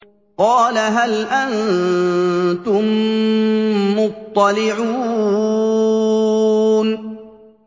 قَالَ هَلْ أَنتُم مُّطَّلِعُونَ